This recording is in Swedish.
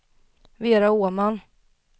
Vera Åman